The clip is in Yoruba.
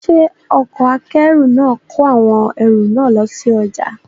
Ṣé ọkọ̀ akẹ́rù náà kọ awọn ẹrù náà lọ sí ọjà?